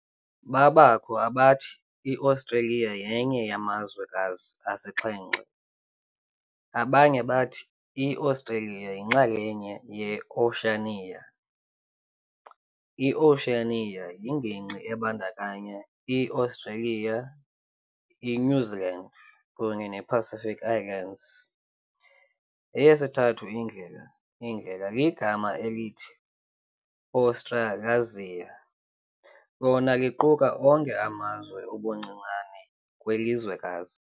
Babakho abathi iAustralia yenye yamazwekazi asixhenxe. abanye bathi iAustralia yinxalenye ye-Oceania. i-Oceania yingingqi ebandakanya ii-Australia, iNew Zealand kunye nePacific Islands. Eyesithathu indlela indlela ligama elithi Australasia, lona liquka onke amazwe ubuncinane kwilizwekazi